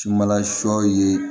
Sumanla sɔ ye